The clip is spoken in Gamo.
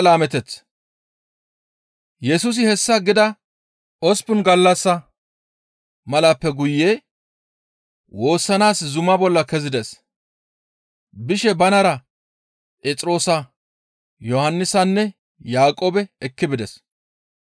Yesusi hessa gida osppun gallassa malappe guye woossanaas zuma bolla kezides; bishe banara Phexroosa, Yohannisanne Yaaqoobe ekki bides.